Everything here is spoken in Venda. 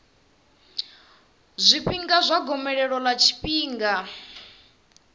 zwifhinga zwa gomelelo ḽa tshifhinga